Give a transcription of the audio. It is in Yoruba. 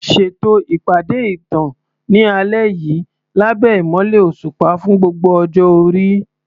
Ṣètò ìpàdé ìtàn ní alẹ́ yìí lábẹ́ ìmọ́lẹ̀ òṣùpá fún gbogbo ọjọ́ orí.